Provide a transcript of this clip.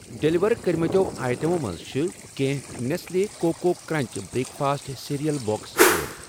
Deliver کٔرمٕتیو آیٹمو منٛز چھِ کینٛہہ نٮ۪سلے coco crunch breakfast cereal box غٲب۔